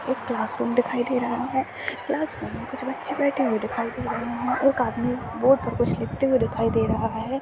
एक क्लासरूम देखाई दे रहा है क्लासरूम में कुछ बच्चे बैठे हुए देखाई दे रहे है एक आदमी बोर्ड पर कुछ लिखते हुए देखाई दे रहा हैं।